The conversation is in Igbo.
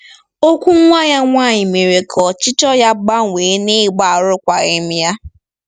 Okwu nwa ya nwanyị mere ka ọchịchọ ya gbanwee n'ịgba arụkwaghịm ya.